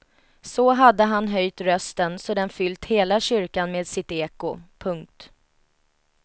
Så hade han höjt rösten så den fyllt hela kyrkan med sitt eko. punkt